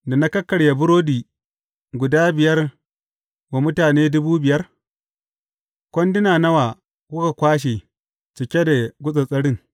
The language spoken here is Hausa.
Da na kakkarya burodi guda biyar wa mutane dubu biyar, kwanduna nawa kuka kwashe cike da gutsattsarin?